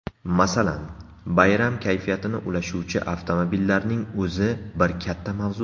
Masalan, bayram kayfiyatini ulashuvchi avtomobillarning o‘zi bir katta mavzu.